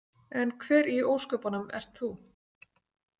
En hver í ósköpunum ert þú?